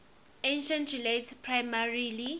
article relates primarily